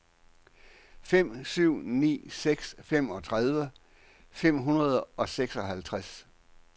fem syv ni seks femogtredive fem hundrede og seksoghalvtreds